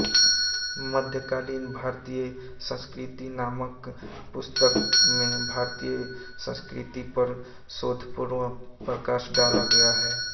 मध्यकालीन भारतीय संस्कृति नामक पुस्तक में भारतीय संस्कृति पर शोधपूर्ण प्रकाश डाला गया है